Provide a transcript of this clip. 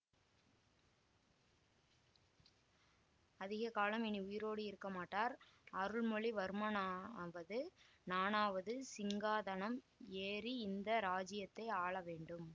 அதிக காலம் இனி உயிரோடு இருக்க மாட்டார் அருள்மொழிவர்மனாவது நானாவது சிங்காதனம் ஏறி இந்த ராஜ்யத்தை ஆள வேண்டும்